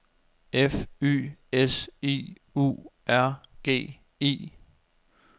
F Y S I U R G I